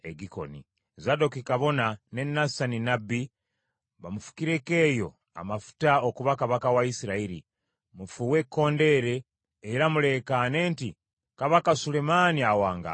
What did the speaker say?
Zadooki kabona ne Nasani nnabbi bamufukireko eyo amafuta okuba kabaka wa Isirayiri. Mufuuwe ekkondeere era muleekaane nti, ‘Kabaka Sulemaani awangaale.’